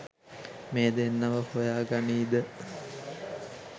මේ දෙන්නව හොයා ගනීද?